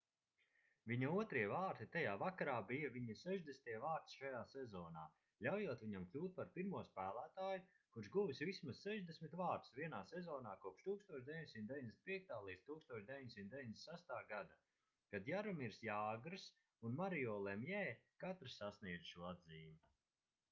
viņa otrie vārti tajā vakarā bija viņa 60. vārti šajā sezonā ļaujot viņam kļūt par pirmo spēlētāju kurš guvis vismaz 60 vārtus vienā sezonā kopš 1995.-1996. gada kad jaromirs jāgrs un mario lemjē katrs sasniedza šo atzīmi